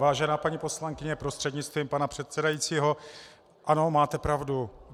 Vážená paní poslankyně prostřednictvím pana předsedajícího, ano, máte pravdu.